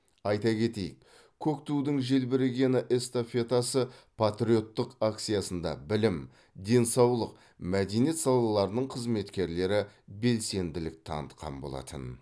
айта кетейік көк тудың желбірегені эстафетасы патриоттық акциясында білім денсаулық мәдениет салаларының қызметкерлері белсенділік танытқан болатын